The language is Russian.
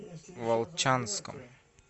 волчанском